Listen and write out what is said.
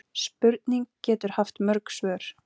Spurning getur haft mörg svör.